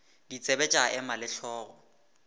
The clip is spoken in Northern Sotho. ditsebe tša ema le hlogo